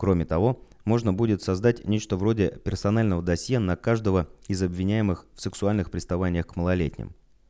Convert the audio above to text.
кроме того можно будет создать нечто вроде персонального досье на каждого из обвиняемых в сексуальных приставаниях к малолетним